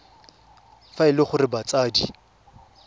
fa e le gore batsadi